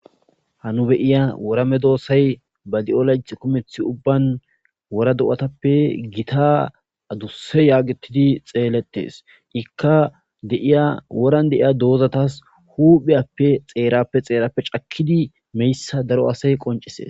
Ha nu beyiya worame doosay ba di'o layt kumeth ubban wora do'atappe gita adusse yaagetidi xeeletes ikka deiya woran deiya doozatas hupheyappe xeerappe xeerappe cakkidi meyssa daro asay qoncise.